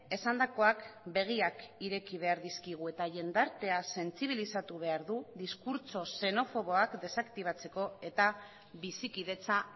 esandakoak begiak ireki behar dizkigu eta jendartea sentsibilizatu behar du diskurtso xenofoboak desaktibatzeko eta bizikidetza